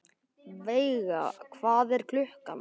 Veiga, hvað er klukkan?